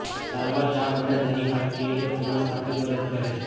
સારવાર ચાક અને દહીં કાર્ટિલેજ પુનઃસ્થાપિત મદદ કરે છે